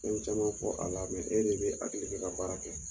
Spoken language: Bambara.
Fɛn caman fɔ a la e de be hakili kɛ ka baara kɛ.